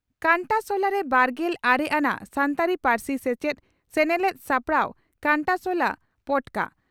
ᱠᱟᱱᱴᱟᱥᱚᱞᱟᱨᱮ ᱵᱟᱨᱜᱮᱞ ᱟᱨᱮ ᱟᱱᱟᱜ ᱥᱟᱱᱛᱟᱲᱤ ᱯᱟᱹᱨᱥᱤ ᱥᱮᱪᱮᱫ ᱥᱮᱱᱮᱞᱮᱫ ᱥᱟᱯᱲᱟᱣ ᱠᱟᱱᱴᱟᱥᱚᱞᱟ ᱯᱚᱴᱠᱟ